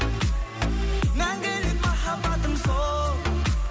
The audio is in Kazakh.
мәңгілік махаббатым сол